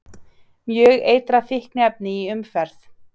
Mjög eitrað fíkniefni í umferð